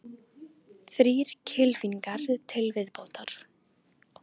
Þrír kylfingar til viðbótar